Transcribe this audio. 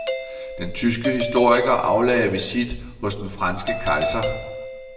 Den tyske historiker aflagde visit hos den franske kejser.